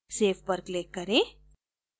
save पर click करें